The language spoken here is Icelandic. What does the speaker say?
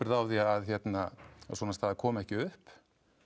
á því að hérna að svona staða komi ekki upp